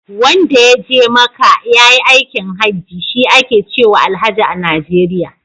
Wanda ya je maka ya yi aikin haji, shi ake cewa Alhaji a Najeriya.